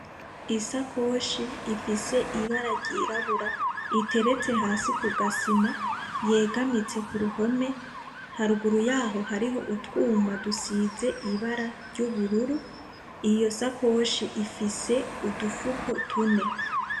Isakoshi ifise ibara ryirabura iteretse hasi kugasima yegamitse kuruhome, haruguru yaho hari utwuma dusize ibara ry’ubururu, iyo sakoshi ifise udufuko tune.